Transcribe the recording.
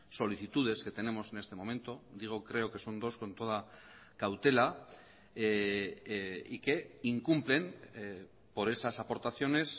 solicitudes que tenemos en este momento digo creo que son dos con toda cautela y que incumplen por esas aportaciones